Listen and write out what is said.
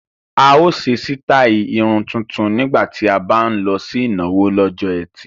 A ó ṣe sítáì irun tuntun nígbà tí a bá ń lọ sí ìnáwó lọ́jọ́ ẹtì